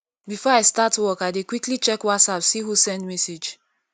before i start work i dey quickly check whatsapp see who send message